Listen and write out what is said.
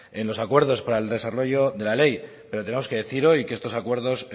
en los acuerdos para el desarrollo de la ley pero tenemos que decir hoy que estos acuerdos